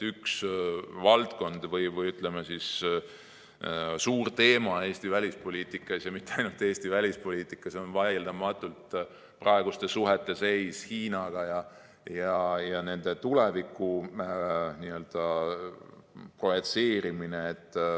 Üks valdkondi või, ütleme, suuri teemasid Eesti välispoliitikas ja mitte ainult Eesti välispoliitikas on vaieldamatult suhete seis Hiinaga ja nende tuleviku n‑ö projitseerimine.